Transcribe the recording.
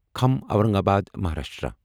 کھام Aurangabad Maharashtra